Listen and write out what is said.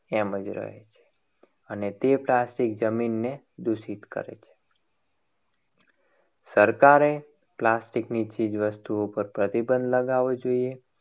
એમ જ રહે છે. અને તે plastic જમીનને દૂષિત કરે છે. સરકારે plastic ની ચીજ વસ્તુઓ પર પ્રતિબંધ લગાવવો જોઈએ.